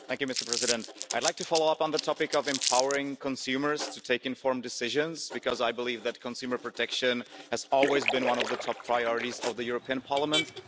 Mr President, I'd like to follow up on the topic of empowering consumers to take informed decisions, because I believe that consumer protection has always been one of the top priorities of the European Parliament.